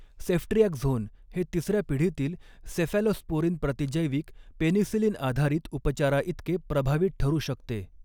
Ceftriaxone हे तिसर्या पिढीतील सेफॅलोस्पोरिन प्रतिजैविक, पेनिसिलिन आधारित उपचाराइतके प्रभावी ठरू शकते.